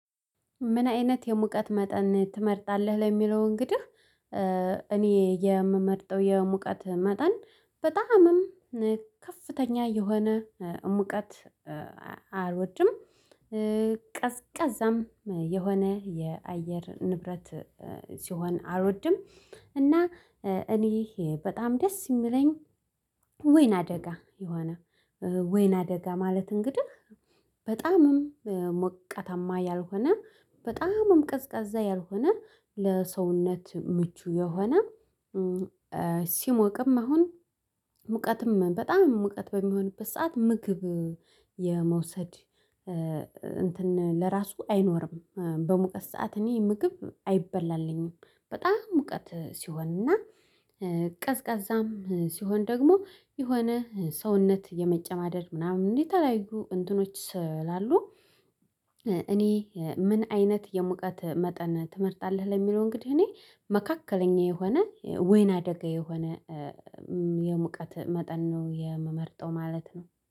ምን አይነት የሙቀት መጠን ትመርጣለህ? ለሚለው እንግዲህ እኔ የምመርጠው የሙቀት መጠን በጣምም ከፍተኛ የሆነ ሙቀት አልወድም። ቀዝቃዛም የሆነ የአየር ንብረት ሲሆን አልወድ። እና እኔ ይሄ በጣም ደስ የሚለኝ ወይናደጋ የሆነ ወይናደጋ ማለት እንግዲህ በጣምም ሞቃታማ ያልሆነ በጣምም ቀዝቃዛ ያልሆነ ለሰውነት ምቹ የሆነ ሲሞቅም አሁን ሙቀትም በጣም ሙቀት በሚሆንበት ሰዓት ምግብ የመውሰድ እንትን ለራሱ አይኖርም በሙቀት ሰዓት እኔ ምግብ አይበላልኝም። በጣም ሙቀት ሲሆን እና ቀዝቃዛም ሲሆን ደግሞ የሆነ ሰውነት የመጨማደድ ምናምን የተለያዩ እንትኖች ስላሉ እኔ ምን አይነት የሙቀት መጠን ትመርጣለህ? ለሚለው እንግዲህ እኔ መካከለኛ የሆነ ወይናደጋ የሆነ የሙቀት መጠን ነው የምመርጠው ማለት ነው።